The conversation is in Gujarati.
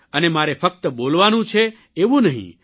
અને મારે ફક્ત બોલવાનું છે એવું નહિં